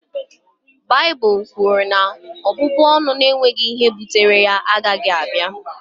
Baịbụl kwuru na ọbụbụ ọnụ na-enweghị ihe bụtere ya agaghị abịa